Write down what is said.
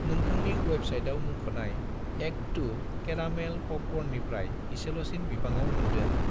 नोंथांनि वेबसाइटआव मुंख'नाय एक II केरामेल प'पकर्ननिफ्राय इसेल'सिन बिबाङाव मोनदों।